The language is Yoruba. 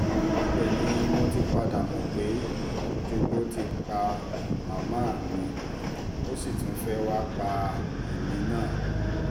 ibẹ̀ ni mo ti padà mọ̀ pé jogbo ti pa màmá mi ó sì tún fẹ́ẹ́ wàá pa èmi náà